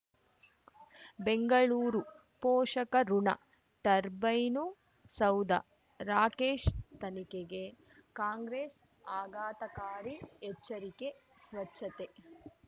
ಬೆಂಗಳೂರು ಪೋಷಕಋಣ ಟರ್ಬೈನು ಸೌಧ ರಾಕೇಶ್ ತನಿಖೆಗೆ ಕಾಂಗ್ರೆಸ್ ಆಘಾತಕಾರಿ ಎಚ್ಚರಿಕೆ ಸ್ವಚ್ಛತೆ